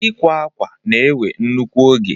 Ịkwa akwa na-ewe nnukwu oge